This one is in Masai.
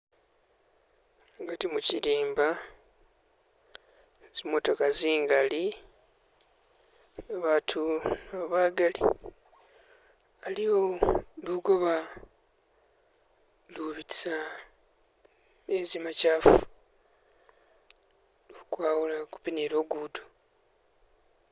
Mugati mukilimba, zimotoka zingali, batu nabo bagali, aliwo lugoba lubitisa mezi makyafu kukwawula kupi ni lugudo